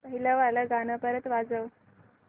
पहिलं वालं गाणं परत वाजव